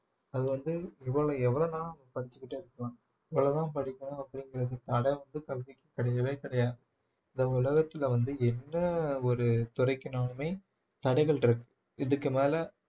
அது வந்து இவ்வளவு எவ்வளவுனா படிச்சுக்கிட்டே இருக்கலாம் இவ்வளவுதான் படிக்கணும் அப்படிங்கிறது தடை வந்து கல்விக்கு கிடையவே கிடையாது இந்த உலகத்துல வந்து என்ன ஒரு துறைக்குனாலுமே தடைகள் இருக்கு இதுக்கு மேல